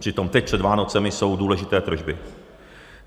Přitom teď před Vánocemi jsou důležité tržby.